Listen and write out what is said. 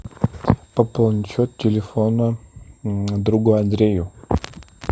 пополнить счет телефона другу андрею